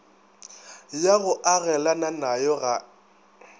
ya go agelana nayo ga